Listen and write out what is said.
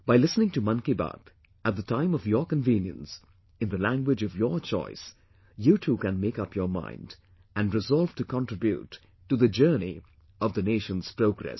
By listening to Mann Ki Baat, at the time of your convenience, in the language of your choice, you too can make up your mind and resolve to contribute to the journey of the nation's progress